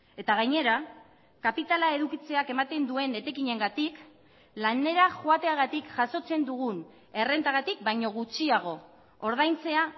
eta gainera kapitala edukitzeak ematen duen etekinengatik lanera joateagatik jasotzen dugun errentagatik baino gutxiago ordaintzea